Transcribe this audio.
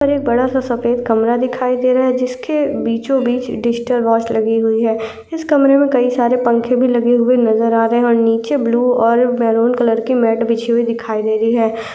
ऊपर एक बड़ा सा सफेद कमरा दिखाई दे रहा है जिसके बीचों बीच डिजिटल वॉच लगी हुई है। इस कमरे में कई सारे पंखे भी लगे हुए नजर आ रहे हैं और नीचे ब्लू और मरून कलर की मेट बिछी हुई दिखाई दे रही है।